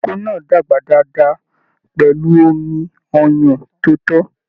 Ìkókó náà dàgbà dáadáa pẹlú omí ọyàn tó to.